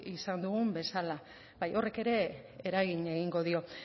izan dugun bezala bai horrek ere eragin egingo dio